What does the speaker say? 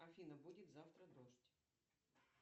афина будет завтра дождь